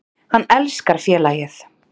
Hann elskar félagið.